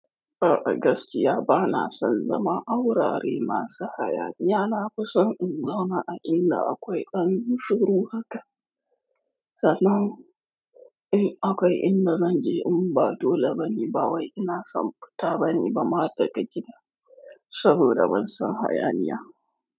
A'a, gaskiya ba na son zama aurari masu hayaniya, na fi son in zauna a inda akwai anushuru haka. Sana'u, eh akwai inda zan je in ba dole bane, ba wai ina son fita bane ba mata ka gida saboda ban son hayaniya.